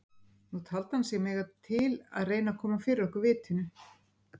Nú taldi hann sig mega til að reyna að koma fyrir okkur vitinu.